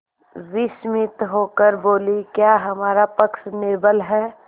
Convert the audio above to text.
विस्मित होकर बोलीक्या हमारा पक्ष निर्बल है